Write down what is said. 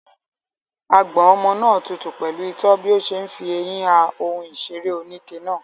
Àgbọ̀n ọmọ náà tutù pẹ̀lú itọ́ bí ó ṣe ń fi eyín ha ohun ìṣeré oníke náà.